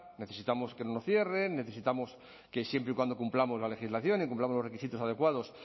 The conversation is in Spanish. necesitamos que no nos cierren necesitamos que siempre y cuando cumplamos la legislación y cumplamos los requisitos adecuados